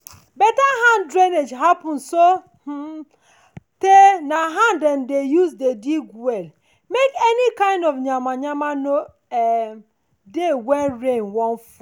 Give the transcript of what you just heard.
better hand drainage happens so um tey na hand dem use dig de well make any kind of yama yama nor um dey when rain wan fall.